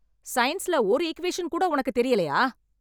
சயின்ஸ்ல ஒரு ஈக்குவேஷன் கூட உனக்கு தெரியலையா?